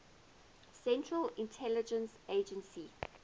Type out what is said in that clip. central intelligence agency